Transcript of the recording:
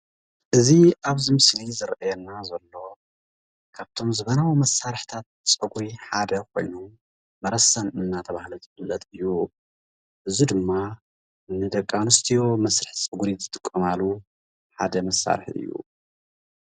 እዚ ኣብዚ ምስሊ ዝሬኤና ዘሎ ካብቶም ዘመናዊ መሳርሒታት ፀጒሪ ሓደ ኮይኑ መረሰን እናተብሃለ ዝፍለጥ እዩ። እዚ ድማ ን ደቂ ኣንስትዮ መስርሒ ፀጒሪ ዝጥቀማሉ ሓደ መሳርሒ እዩ።